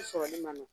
I sɔrɔli man nɔgɔn